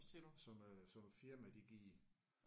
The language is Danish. Som øh som firmaet de giver